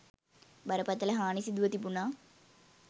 බරපතල හානි සිදුව තිබුණා.